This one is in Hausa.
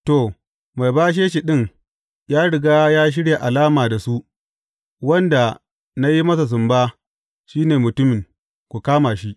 To, mai bashe shi ɗin, ya riga ya shirya alama da su, Wanda na yi masa sumba, shi ne mutumin; ku kama shi.